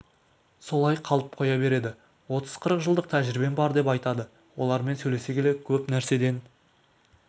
солай қалып қоя береді отыз-қырық жылдық тәжірибем бар деп айтады олармен сөйлесе келе көп нәрседен